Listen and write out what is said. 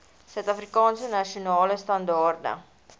suidafrikaanse nasionale standaarde